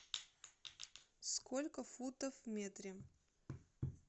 сколько футов в метре